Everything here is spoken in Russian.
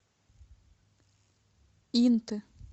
инты